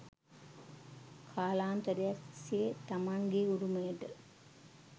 කාලාන්තරයක් තිස්සේ තමන්ගේ උරුමයට